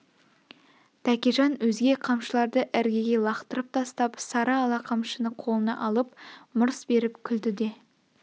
тәкежан өзге қамшыларды іргеге лақтырып тастап сары ала қамшыны қолына алып мырс беріп күлді де